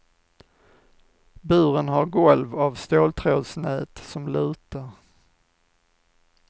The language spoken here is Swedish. Buren har golv av ståltrådsnät som lutar.